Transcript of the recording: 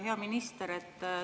Hea minister!